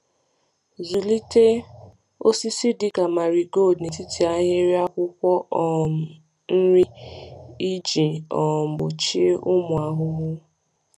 Zụlite osisi dịka marigold n’etiti ahịrị akwụkwọ um nri iji um gbochie ụmụ ahụhụ.